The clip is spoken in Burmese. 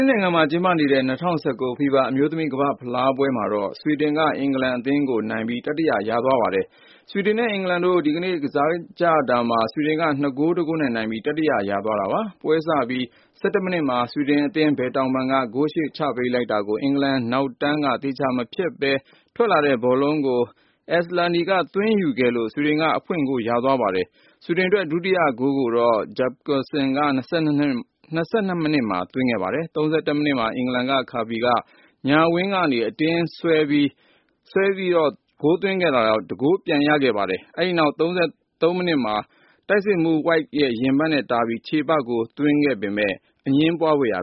င်သစ်နိုင်ငံမှာ ကျင်းပနေတဲ့ ၂၀၁၉ FIFA အမျိုးသမီး ကမ္ဘာ့ဖလားပွဲမှာတော့ ဆွီဒင်က-အင်္ဂလန်အသင်းကို နိုင်ပြီး တတိယ ရသွားပါတယ်။ ဆွီဒင်နဲ့ အင်္ဂလန်တို့ ဒီကနေ့ကစားကြတာမှာ ဆွီဒင်က ၂ ဂိုး ၁ ဂိုးနဲ့ နိုင်ပြီး တတိယ ရသွားတာပါ။ ပွဲစပြီး ၁၁ မိနစ်မှာ ဆွီဒင်အသင်း ဘယ်တောင်ပံက ဂိုးရှေ့ချပေးလိုက်တာကို အင်္ဂလန်နောက်တန်းက သေချာ မဖျက်နိုင်ဘဲ ထွက်လာတဲ့ ဘောလုံးကို Asllani က သွင်းယူခဲ့လို့ ဆွီဒင်က အဖွင့်ဂိုး ရသွားပါတယ်။ ဆွီဒင်အတွက် ဒုတိယဂိုးကိုတော့ Jakobsson က ၂၂ မိနစ်မှာ သွင်းခဲ့ပါတယ်။ ၃၁ မိနစ်မှာတော့ အင်္ဂလန်က Kirby က ညာဝင်းကနေ အတွင်းကို ဆွဲဝင်ပြီးသွင်းခဲ့လို့ ၁ဂိုး ပြန်ရပါတယ်။ အဲဒီနောက် ၃၃ မိနစ်မှာ အင်္ဂလန်တိုက်စစ်မှူး White ရင်ဘတ်နဲ့တားပြီး ချေပဂိုး သွင်းခဲ့ပေမယ့် အငြင်းပွားစရာ